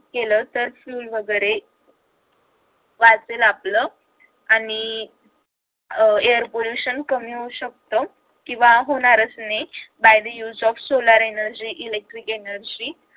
केलं तर fuel वगैरे वाचेल आपलं आणि अह air pollution कमी होऊ शकत किंवा होणारच नाही by the use of solar energy electric energy